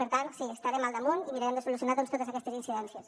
per tant sí hi estarem al damunt i mirarem de solucionar doncs totes aquestes incidències